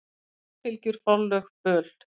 Ættarfylgjur, forlög, böl.